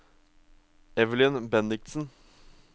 Evelyn Bendiksen